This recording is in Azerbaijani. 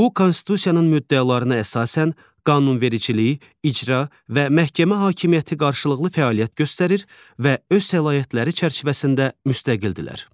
Bu Konstitusiyanın müddəalarına əsasən, qanunvericilik, icra və məhkəmə hakimiyyəti qarşılıqlı fəaliyyət göstərir və öz səlahiyyətləri çərçivəsində müstəqildirlər.